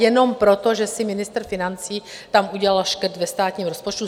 Jenom proto, že si ministr financí tam udělal škrt ve státním rozpočtu?